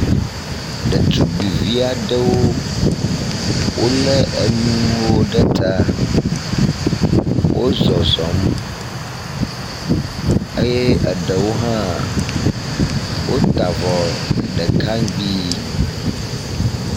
Ɖetugbivi aɖewo wo le enuwo ɖe ta wozɔxɔm eye eɖewo hã wota avɔ ɖeka ŋgbi.